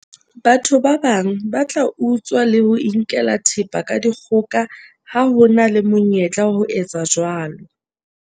batho ba bang ba tla utswa le ho inkela thepa ka dikgoka ha ho na le monyetla wa ho etsa jwalo